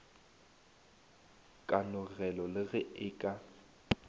kanogelo le ge e ka